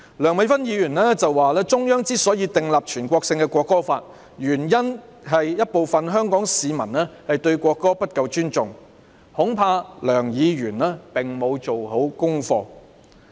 梁美芬議員說中央之所以訂立全國性的《國歌法》，原因是有部分香港市民對國歌不夠尊重，恐怕梁議員沒有做足功課。